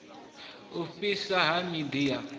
u fhiswa ha miḓi ya